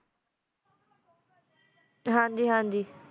ਹਨ ਗੀ ਹਨ ਗੀ